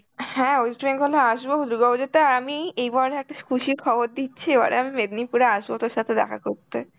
হ্যাঁ West Bengal এ আসবো দুর্গাপূজাতে আর আমি এবারে একটা খুশির খবর দিচ্ছি, এবারে আমি মেদিনীপুরে আসবো তোর সাথে দেখা করতে.